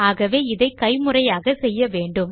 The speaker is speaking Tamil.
ஆகவே அதை கைமுறையாக செய்ய வேண்டும்